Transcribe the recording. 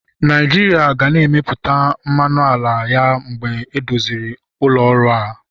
Naijiria ga na-emepụta mmanụ ala ya mgbe edozichara ụlọ ọrụ a.